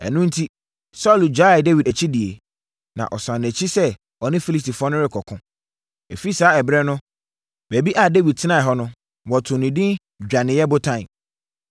Ɛno enti, Saulo gyaee Dawid akyidie, na ɔsane nʼakyi sɛ ɔne Filistifoɔ no rekɔko. Ɛfiri saa ɛberɛ no, baabi a Dawid tenaeɛ hɔ no, wɔtoo no edin Dwaneeɛ Botan.